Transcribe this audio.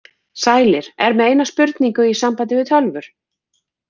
Sælir, er með eina spurningu í sambandi við tölvur.